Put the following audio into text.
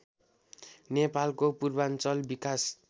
नेपालको पूर्वाञ्चल विकास